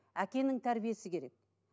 әкенің тәрбиесі керек